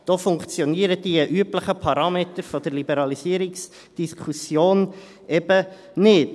Da funktionieren die üblichen Parameter der Liberalisierungsdiskussion eben nicht.